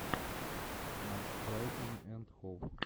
матч брайтон энд хоув